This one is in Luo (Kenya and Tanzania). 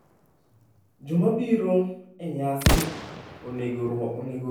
Joma biro e nyasino onego orwak lewni mowinjore gi arus.